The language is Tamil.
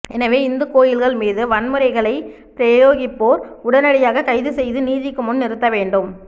எனவே இந்துக் கோயில்கள் மீது வன்முறைகளைப் பிரயோகிப்போர் உடனடியாகக் கைது செய்து நீதிக்கு முன் நிறுத்த வேண்டும்